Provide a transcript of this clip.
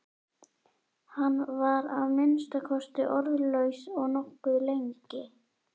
Hann var að minnsta kosti orðlaus nokkuð lengi.